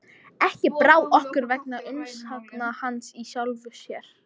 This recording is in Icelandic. Ekki brá okkur vegna umsagna hans í sjálfu sér.